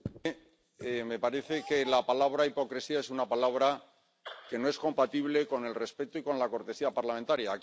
Señora Miranda, me parece que la palabra hipocresía es una palabra que no es compatible con el respeto y con la cortesía parlamentaria.